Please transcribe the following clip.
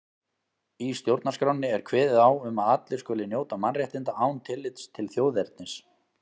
Í stjórnarskránni er kveðið á um að allir skuli njóta mannréttinda án tillits til þjóðernis.